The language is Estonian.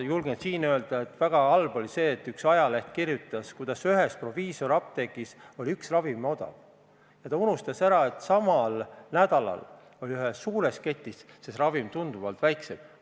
Julgen siin öelda, et väga halb oli see, et üks ajaleht kirjutas, et ühes proviisoriapteegis oli üks ravim odav, aga unustati ära, et samal nädalal oli ühes suures ketis see ravim tunduvalt odavam.